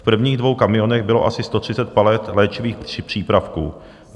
V prvních dvou kamionech bylo asi 130 palet léčivých přípravků.